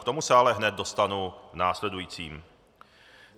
K tomu se ale hned dostanu v následujícím.